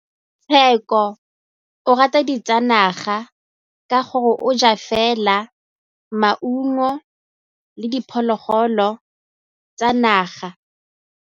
Tshekô o rata ditsanaga ka gore o ja fela maungo le diphologolo tsa naga.